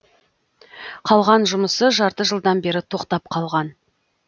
қалған жұмысы жарты жылдан бері тоқтап қалған